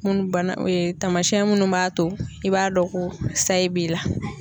Munnu bana tamasiyɛn minnu b'a to i b'a dɔn ko sayi b'i la.